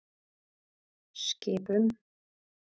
Skipum